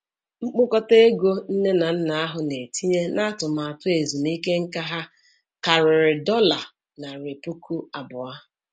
Mkpokọta ego nne na nna ahụ na-etinye n'atụmaatụ ezumike nká ha karịrị dollar narị puku abụọ ($200,000).